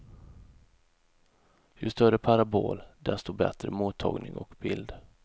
Ju större parabol, dessto bättre mottagning och bild.